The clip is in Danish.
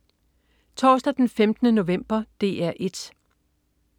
Torsdag den 15. november - DR 1: